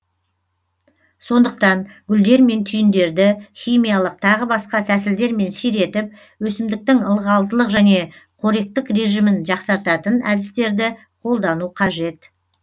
сондықтан гүлдер мен түйіндерді химиялық тағы басқа тәсілдермен сиретіп өсімдіктің ылғалдылық және қоректік режимін жақсартатын әдістерді қолдану қажет